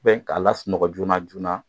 k'a lasunɔgɔ joona joona